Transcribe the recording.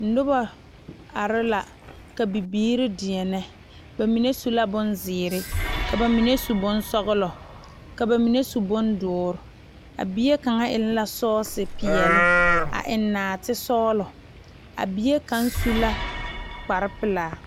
Noba are la ka bibiiri deɛne bamine su la bonziiri, ka bamine su bonsɔglɔ ka bamine su bondoɔre a bie kaŋ eŋ la sɔsi peɛle a eŋ naate sɔglɔ bie kaŋ su la kpare pelaa.